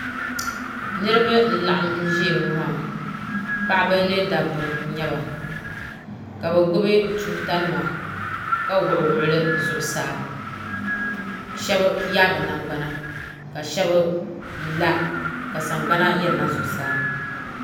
niriba n laɣim ʒɛya ŋɔ maa paɣ' ba ni da ba nyɛba ka bi gbabi tuuta nima ka wuɣ' wuɣ' li zuɣ saa shɛbiyabigbana ka shɛbi la ka sagbana yina zuɣ saa